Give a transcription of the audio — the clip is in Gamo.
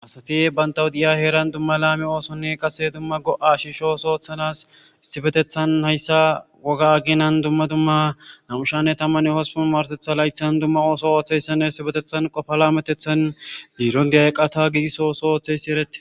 asati bantawu diya heeran dumma laami oosonni qase dumma go7a shishoos ooththanas issipetethan hayssa woga aginan dumma dumma namushanne tamman hospun martetha laythan dumma ooso ooththeyssanne isipetethan qofa laametethan biiron diay iqqata giigisoosi ooththeysi erette